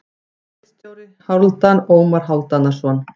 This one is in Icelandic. Ritstjóri: Hálfdan Ómar Hálfdanarson.